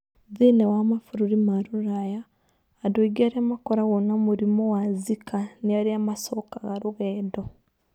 Thĩinĩ wa mabũrũri ma rũraya, andũ aingĩ arĩa makoragwo na mũrimũ wa Zika nĩ arĩa macokaga rũgendo.